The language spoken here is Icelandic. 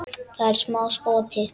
Það er smá spotti.